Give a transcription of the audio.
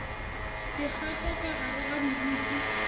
dikgato ka gare ga moriti